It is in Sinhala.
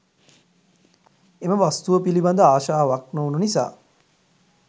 එම වස්තුව පිළිබඳ ආශාවක් නොවුණු නිසා